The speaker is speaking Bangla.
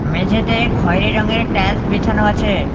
মেঝেতে খয়েরি রঙের টাইলস বেছানো আছে।